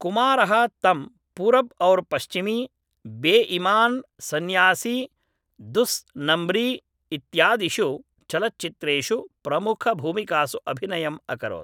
कुमारः तं पुरब् और पश्चिमी बेइमान् सन्यासी दुस् नुम्ब्रि इत्यादिषु चलच्चित्रेषु प्रमुखभूमिकासु अभिनयम् अकरोत्